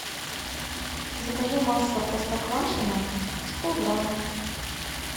закажи масло простоквашино сто грамм